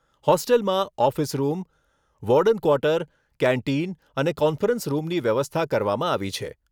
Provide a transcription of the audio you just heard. હોસ્ટેલમાં office room, warden quarter, canteen અને conference રૂમની વ્યવસ્થા કરવામાં આવી છે.